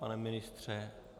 Pane ministře?